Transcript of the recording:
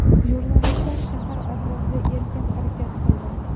Jurnalistlar shahar atrofida erkin harakat qildi.